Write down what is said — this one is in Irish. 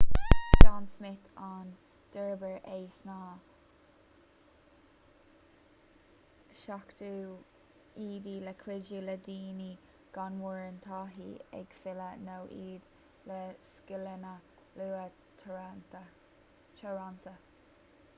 is john smith a d'fhorbair é sna 70idí le cuidiú le daoine gan mórán taithí ag filleadh nó iad le scileanna luaile teoranta